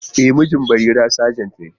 E, mijin Barira sajent ne.